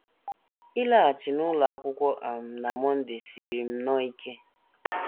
Ịlaghachi n’ụlọ akwụkwọ um na Monday siiri m nnọọ ike.